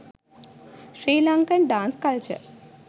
sri lankan dance culture